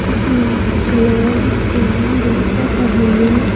इसमें कुछ लोग स्विमिंग भी कर रहे हैं।